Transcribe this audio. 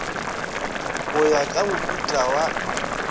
go ya ka mohuta wa